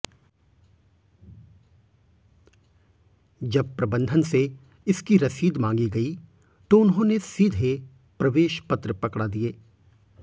जब प्रबंधन से इसकी रसीद मांगी गई तो उन्होंने सीधे प्रवेश पत्र पकडा दिए